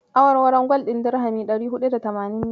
Awarwaron gwal ɗin dirhami ɗari huɗu da tamanin ne.